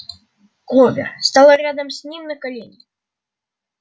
кловер стала рядом с ним на колени